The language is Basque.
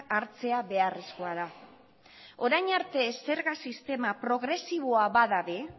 hartzea beharrezkoa da orain arte zerga sistema progresiboa bada ere